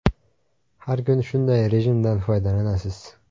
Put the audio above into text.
Har kun shunday rejimdan foydalanasiz.